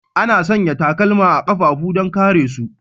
Ana sanya takalma a kafafu don kare su.